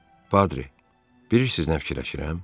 Padri, bilirsiz nə fikirləşirəm?